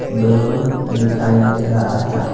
Balloon दिखाई दे रहा है।